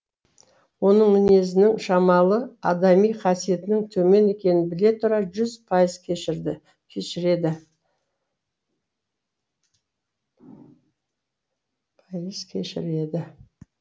оның мінезінің шамалы адами қасиетінің төмен екенін біле тұра жүз пайыз кешірді